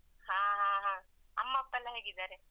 ಹಾ ಹಾ ಅಮ್ಮ ಅಪ್ಪ ಎಲ್ಲ ಹೇಗಿದ್ದಾರೆ?